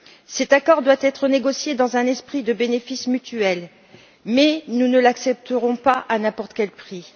Cet accord doit être négocié dans un esprit de bénéfice mutuel, mais nous ne l'accepterons pas à n'importe quel prix.